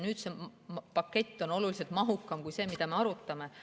See pakett on oluliselt mahukam kui see, mida meie arutame.